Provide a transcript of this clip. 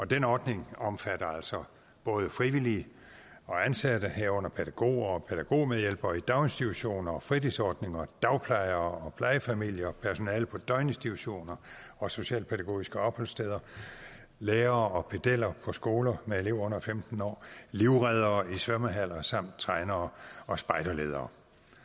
den ordning omfatter altså både frivillige og ansatte herunder pædagoger og pædagogmedhjælpere i daginstitutioner og fritidsordninger dagplejere og plejefamilier personale på døgninstitutioner og socialpædagogiske opholdssteder lærere og pedeller på skoler med elever under femten år livreddere i svømmehaller samt trænere og spejderledere